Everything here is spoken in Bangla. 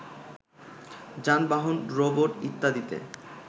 যানবাহন, রোবট, ইত্যাদিতে